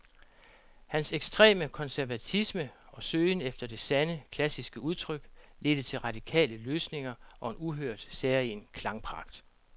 Hans ekstreme konservatisme og søgen efter det sande, klassiske udtryk ledte til radikale løsninger og en uhørt, særegen klangpragt.